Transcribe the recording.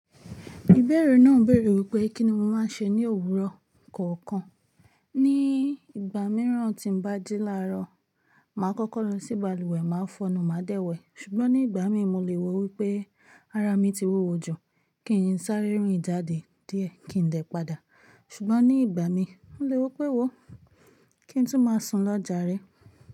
Ìbẹ̀rẹ̀ náà ń bèrè wípé kíni mo máa ń ṣe ní òwúrọ̀ kọ̀ọ̀kan. Ni ìgbà mìíràn tí ń bá jí láàárọ̀, mà á kọ́kọ́ lọ sí balùwẹ̀, mà á fọ̀nà, mà á dẹ̀wẹ̀. Ṣùgbọ́n ní ìgbà míì, mo le wò wípé ara mi ti wúwo jù, kí n sáré rìn jàde díẹ̀, kí n dè padà. Ṣùgbọ́n ní ìgbà mi, mo le wò pé wò ó, kí n tún máa sùn lọ́ jàre?